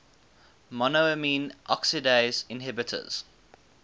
monoamine oxidase inhibitors